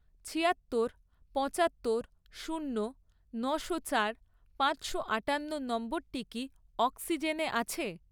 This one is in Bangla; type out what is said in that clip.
ছিয়াত্তর, পঁচাত্তর, শূন্য, নশো চার, পাঁচশো আটান্ন নম্বরটি কি অক্সিজেনে আছে?